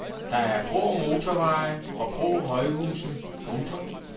Der er grå motorveje og grå højhuse. punktum